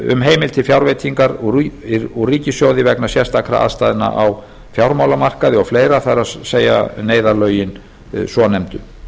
um heimild til fjárveitingar úr ríkissjóði vegna sérstakra aðstæðna á fjármálamarkaði og fleira það er neyðarlögin svonefndu